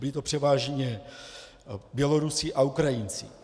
Byli to převážně Bělorusové a Ukrajinci.